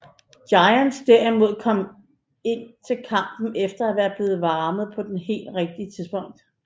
Giants derimod kom ind til kampen efter at være blevet varme på det helt rigtige tidspunkt